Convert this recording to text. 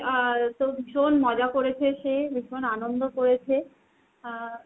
আর তোর ভীষণ মজা করেছে সে ভীষণ আনন্দ করেছে। আহ